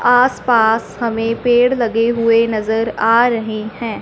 आस पास हमें पेड़ लगे हुए नजर आ रहे हैं।